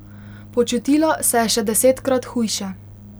Počutila se je še desetkrat hujše.